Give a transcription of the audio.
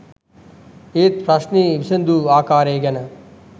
ඒත් ප්‍රශ්නය විසඳු ආකාරය ගැන